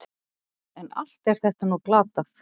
En allt er þetta nú glatað.